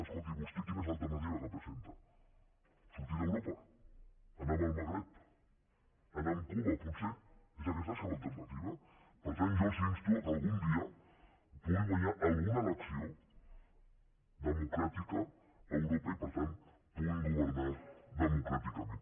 escolti vostè quina és l’alternativa que presenta sortir d’europa anar amb el magreb anar amb cuba potser és aquesta la seva alternativa per tant jo els insto que algun dia puguin guanyar alguna elecció democràtica a europa i que per tant puguin governar democràticament